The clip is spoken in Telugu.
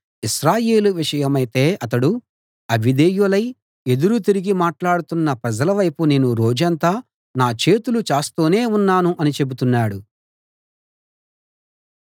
ఇశ్రాయేలు విషయమైతే అతడు అవిధేయులై ఎదురు తిరిగి మాట్లాడుతున్న ప్రజలవైపు నేను రోజంతా నా చేతులు చాస్తూనే ఉన్నాను అని చెబుతున్నాడు